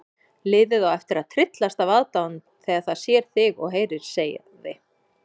Liðið á eftir að tryllast af aðdáun þegar það sér þig og heyrir sagði